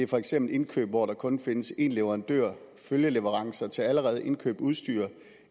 for eksempel indkøb hvor der kun findes én leverandør følgeleverancer til allerede indkøbt udstyr